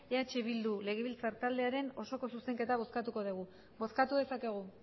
eh bildu legezbiltzar taldearen osoko zuzenketa bozkatuko dugu bozkatu dezakegu